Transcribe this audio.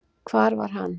Hvar var hann?